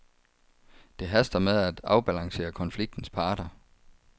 Det haster med at afbalancere konfliktens parter.